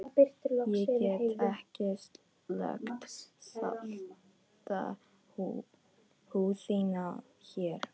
Ég get ekki sleikt salta húð þína hér.